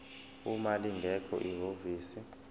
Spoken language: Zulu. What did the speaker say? uma lingekho ihhovisi